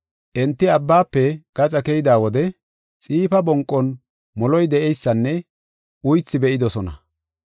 Enti abbaafe gaxa keyida wode, xiifa bonqon moloy de7eysanne uythi be7idosona.